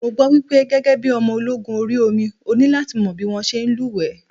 Mo gbọ́ wípé gẹ́gẹ́ bí ọmọ ológun orí omi, o ní láti mọ̀ bí wón ṣe ń lú wẹ́ẹ̀.